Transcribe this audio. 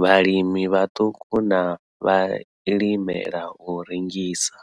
vhalimi vhaṱuku na vhalimela u rengisa.